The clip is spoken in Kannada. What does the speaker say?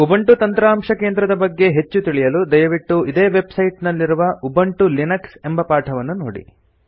ಉಬುಂಟು ತಂತ್ರಾಂಶ ಕೇಂದ್ರದ ಬಗ್ಗೆ ಹೆಚ್ಚು ತಿಳಿಯಲು ದಯವಿಟ್ಟು ಇದೇ ವೆಬ್ ಸೈಟ್ ನಲ್ಲಿರುವ ಉಬುಂಟು ಲಿನಕ್ಸ್ ಎಂಬ ಪಾಠವನ್ನು ನೋಡಿ